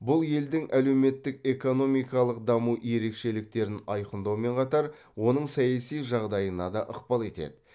бұл елдің әлеуметтік экономикалық даму ерекшеліктерін айқындаумен қатар оның саяси жағдайына да ықпал етеді